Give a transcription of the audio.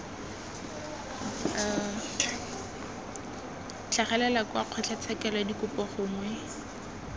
tlhagelela kwa kgotlatshekelo dikopo gongwe